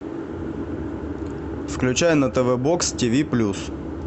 включай на тв бокс ти ви плюс